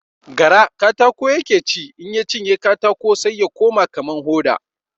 Gara katako ya ke ci, in ya cinye katako sai ya koma kaman hoda.